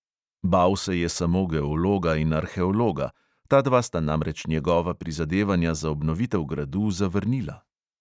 Bal se je samo geologa in arheologa, ta dva sta namreč njegova prizadevanja za obnovitev gradu zavrnila.